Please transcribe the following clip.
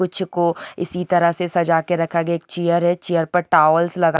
कुछ को इसी तरह से सजा के रखा गया एक चेयर है चेयर्स पर टॉवल्स लगा--